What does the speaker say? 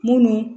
Munnu